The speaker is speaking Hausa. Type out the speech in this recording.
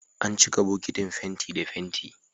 An cika bukitin fenti da fenti